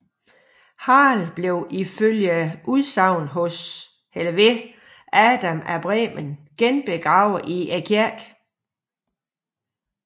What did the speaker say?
Harald blev ifølge udsagn hos Adam af Bremen genbegravet i kirken